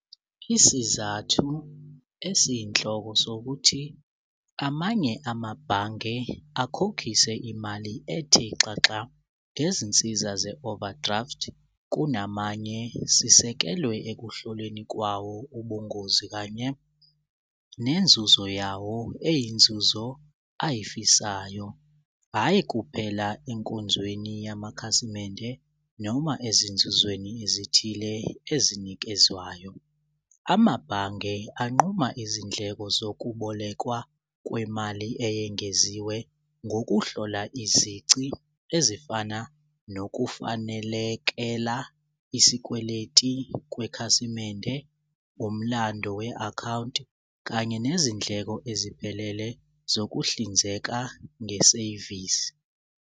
Isizathu esiyinhloko sokuthi amanye amabhange akhokhise imali ethe xaxa ngezinsiza ze-overdraft kunamanye sisekelwe ekuhlolweni kwawo ubungozi kanye nenzuzo yawo eyinzuzo ayifisayo, hhayi kuphela enkonzweni yamakhasimende noma ezinzuzweni ezithile ezinikezwayo. Amabhange anquma izindleko zokubolekwa kwemali eyengeziwe ngokuhlola izici ezifana nokufanelekela isikweleti kwekhasimende umlando we-akhawunti kanye nezindleko eziphelele zokuhlinzeka ngesevisi.